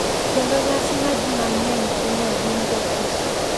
Kendo nyasi ma ji mang’eny timo e din Jokristo.